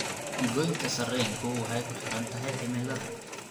Goynta sarreenku waxay kuxirantahay cimilada.